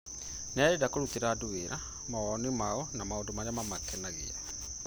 Nĩ arenda kũrutĩra andũ wĩra, mawoni mao na maũndũ marĩa mamakenagia